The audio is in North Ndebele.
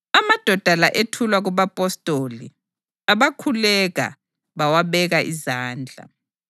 Amadoda la ethulwa kubapostoli, abakhuleka bawabeka izandla.